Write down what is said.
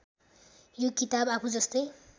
यो किताब आफूजस्तै